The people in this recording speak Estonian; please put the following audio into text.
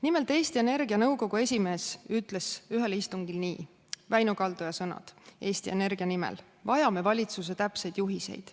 Nimelt Eesti Energia nõukogu esimees ütles ühel istungil nii, need on Väino Kaldoja sõnad Eesti Energia nimel: vajame valitsuse täpseid juhiseid.